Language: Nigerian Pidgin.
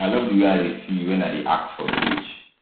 i love the way i dey feel feel wen i dey act for stage